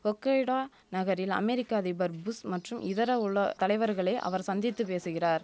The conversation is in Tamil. ஒக்கைடா நகரில் அமெரிக்க அதிபர் புஷ் மற்றும் இதர உல தலைவர்களை அவர் சந்தித்து பேசுகிறார்